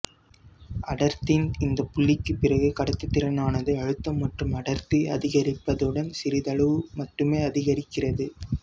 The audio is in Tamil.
அடர்த்தியின் இந்த புள்ளிக்குப் பிறகு கடத்துத்திறனானது அழுத்தம் மற்றும் அடர்த்தி அதிகரிப்பதுடன் சிறிதளவு மட்டுமே அதிகரிக்கிறது